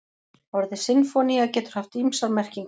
Orðið sinfónía getur haft ýmsar merkingar.